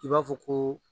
I b'a fɔ ko